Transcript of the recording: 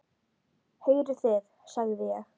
Heyrið þið, sagði ég.